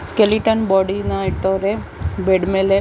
Skeleton body ನ ಇಟ್ಟವ್ರೆ bed ಮೇಲೆ.